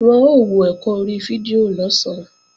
Wọn ó wọ ẹ̀kọ́ orí fídíò lọ̀sán